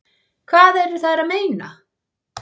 Hvað eru þær að meina?